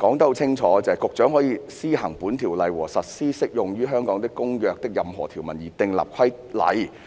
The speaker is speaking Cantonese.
說得很清楚："局長可為施行本條例和實施適用於香港的公約的任何條文而訂立規例。